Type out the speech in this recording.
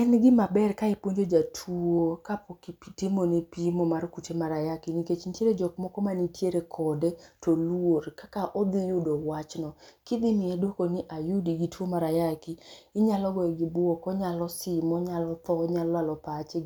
En gima ber ka ipuonjo jatuo kapok itimone pimo mar kute mar ayaki nikech nitiere jok moko mantiere kode to oluor kaka odhi yudo wachno. Kidhi miye dwoko ni ayudo gin tuo mar ayaki, inyalo goye gi bwok, onyalo sim, onyalo tho onyalo lalo pache,